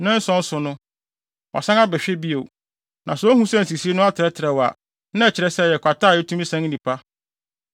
Nnanson so no, wasan ahwɛ bio. Na sɛ ohu sɛ nsisii no atrɛtrɛw a, na ɛkyerɛ sɛ, ɛyɛ kwata a etumi san nnipa.